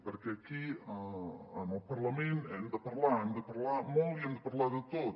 perquè aquí en el parlament hem de parlar hem de parlar molt i hem de parlar de tot